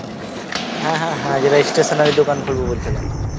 হ্যাঁ হ্যাঁ হ্যাঁ যেটা এস stationary দোকান খুলবো বলছিলে